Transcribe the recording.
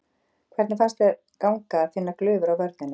Hvernig fannst þér ganga að finna glufur á vörninni?